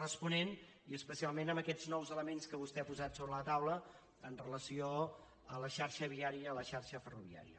responent i especialment amb aquests nous elements que vostè ha posat sobre la taula amb relació a la xarxa viària a la xarxa ferroviària